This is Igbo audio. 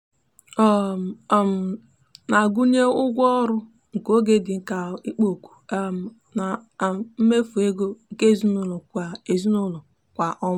ọ um na-agụnye ụgwọ ọrụ nke oge dị ka ikpo ọkụ um na um mmefu ego nke ezinụụlọ kwa ezinụụlọ kwa ọnwa.